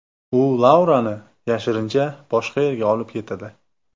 U Laurani yashirincha boshqa yerga olib ketadi.